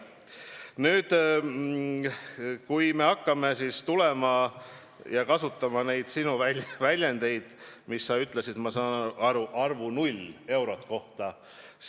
Nüüd, kui me tuleme sinu väljendite juurde, siis ma saan aru, et sa rääkisid arvust 0.